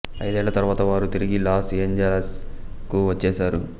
ఐదేళ్ళ తరువాత వారు తిరిగి లాస్ ఏంజలస్ కు వచ్చేశారు